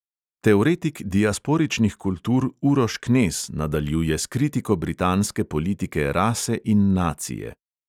Teoretik diasporičnih kultur uroš knez nadaljuje s kritiko britanske politike rase in nacije.